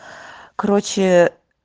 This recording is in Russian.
короче